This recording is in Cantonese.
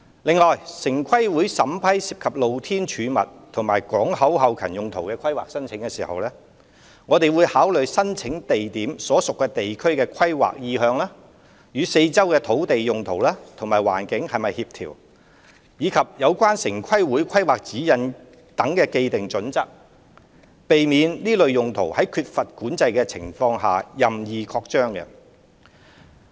另外，城規會審批涉及"露天貯物"和港口後勤用途的規劃申請時，會考慮申請地點所屬地區的規劃意向、與四周土地用途及環境是否協調，以及相關城規會規劃指引所訂的既定準則，避免這類用途在缺乏管制的情況下任意擴張。